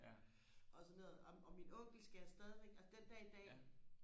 og sådan noget og og min onkel skal jeg stadivæk altså den dag i dag